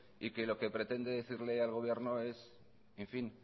y lo que pretende decirle al gobierno es en fin